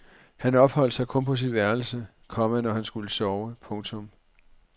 Han opholdt sig kun på sit værelse, komma når han skulle sove. punktum